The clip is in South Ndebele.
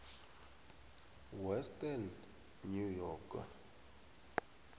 western new york